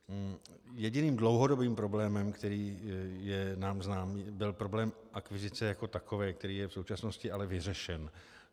Jediným dlouhodobým problémem, který je nám znám, byl problém akvizice jako takové, který je v současnosti ale vyřešen.